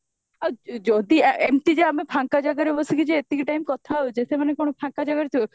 ଆଉ ଯଦି ଏମତି ଯେ ଆମେ ଫାଙ୍କ ଜାଗାରେ ବସିକି ଯେ ଏତିକି time କଥା ହଉଚେ ସେମାନେ କଣ ଫାଙ୍କ ଜାଗାରେ ଥିବେ